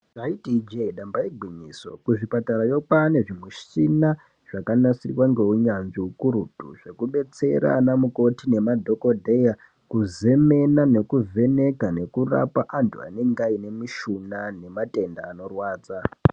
Ndaiti Ije damba igwinyiso kuzvipatarayo kwane zvimuchina zvakanasirwa nemuchina ukurutu zvekudetsera ana mukoti nemadhokodheya kuzemena nekuvheneka nekurapa antu anenge ane mishuna nematenda anorwadza.